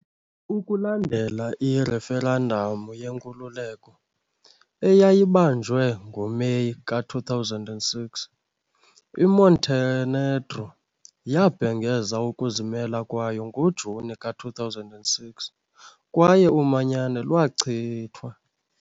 Ukulandela ireferendamu yenkululeko eyayibanjwe ngoMeyi ka-2006, iMontenegro yabhengeza ukuzimela kwayo ngoJuni ka-2006 kwaye umanyano lwachithwa.